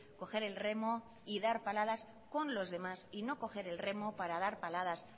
coger el remo y dar paladas con los demás y no coger el remo para dar paladas